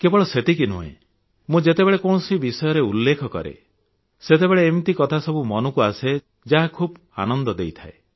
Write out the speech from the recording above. କେବଳ ସେତିକି ନୁହେଁ ମୁଁ ଯେତେବେଳେ କୌଣସି ବିଷୟର ଉଲ୍ଲେଖ କରେ ସେତେବେଳେ ଏମିତି କଥାସବୁ ମନକୁ ଆସେ ଯାହା ଖୁବ ଆନନ୍ଦ ଦେଇଥାଏ